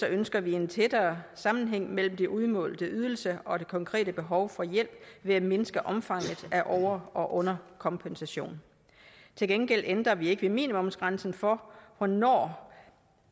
ønsker vi en tættere sammenhæng mellem den udmålte ydelse og det konkrete behov for hjælp ved at mindske omfanget af over og underkompensation til gengæld ændrer vi ikke ved minimumsgrænsen for hvornår